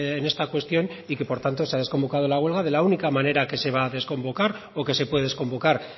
en esta cuestión y que por tanto se ha desconvocado la huelga de la única manera que se va a desconvocar o que se puede desconvocar